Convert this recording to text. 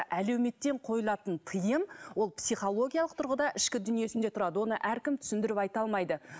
әлеуметтен қойылатын тыйым ол психологиялық тұрғыда ішкі дүниесінде тұрады оны әркім түсіндіріп айта алмайды